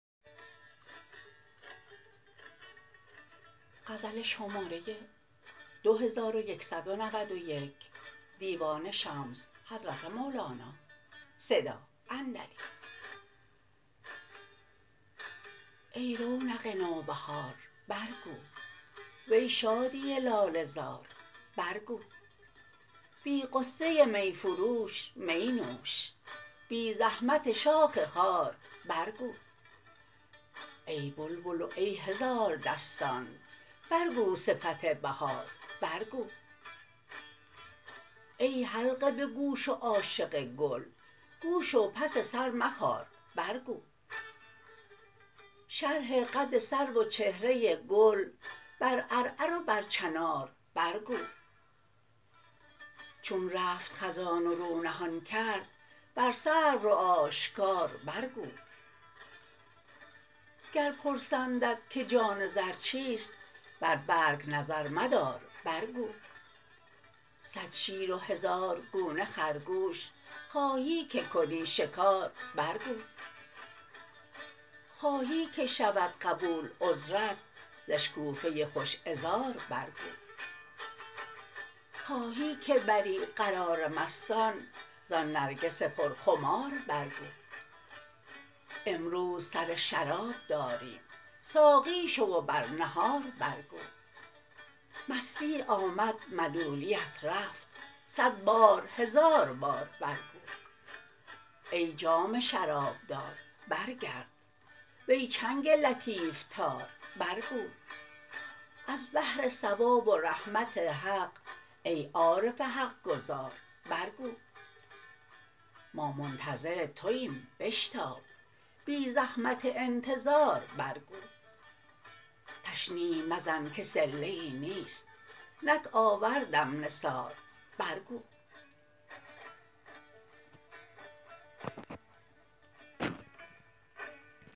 ای رونق نوبهار برگو وی شادی لاله زار برگو بی غصه می فروش می نوش بی زحمت شاخ خار برگو ای بلبل و ای هزاردستان برگو صفت بهار برگو ای حلقه به گوش و عاشق گل گوش و پس سر مخار برگو شرح قد سرو و چهره گل بر عرعر و بر چنار برگو چون رفت خزان و رو نهان کرد بر سرو رو آشکار برگو گر پرسندت که جان رز چیست بر برگ نظر مدار برگو صد شیر و هزار گونه خرگوش خواهی که کنی شکار برگو خواهی که شود قبول عذرت ز اشکوفه خوش عذار برگو خواهی که بری قرار مستان زان نرگس پرخمار برگو امروز سر شراب داریم ساقی شو و بر نهار برگو مستی آمد ملولیت رفت صد بار و هزار بار برگو ای جام شرابدار برگرد وی چنگ لطیف تار برگو از بهر ثواب و رحمت حق ای عارف حق گزار برگو ما منتظر توایم بشتاب بی زحمت انتظار برگو تشنیع مزن که صله ای نیست نک آوردم نثار برگو